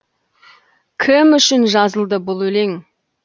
кім үшін жазылды бұл өлең